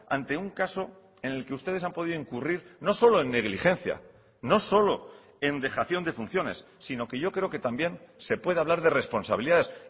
ante un caso en el que ustedes han podido incurrir no solo en negligencia no solo en dejación de funciones sino que yo creo que también se puede hablar de responsabilidades